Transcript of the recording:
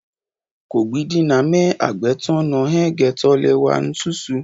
Kọgbidinamẹ hagbẹ tọn nọ hẹn gbẹtọ lẹ wà nususu